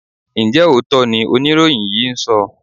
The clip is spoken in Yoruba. Ǹjẹ́ òótọ́ ni oníròyìn yìí ń sọ?